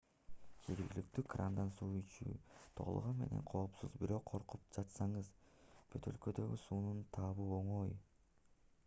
жергиликтүү крандан суу ичүү толугу менен коопсуз бирок коркуп жатсаңыз бөтөлкөдөгү сууну табуу оңой